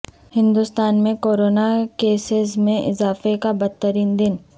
ہندوستان میں corona cases میں اضافہ کا بدترین دن